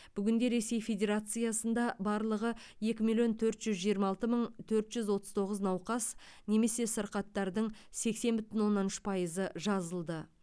бүгінде ресей федерациясында барлығы екі миллион төрт жүз жиырма алты мың төрт жүз отыз тоғыз науқас немесе сырқаттардың сексен бүтін оннан үш пайызы жазылды